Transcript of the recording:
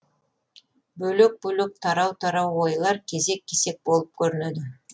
бөлек бөлек тарау тарау ойлар кесек кесек болып көрінеді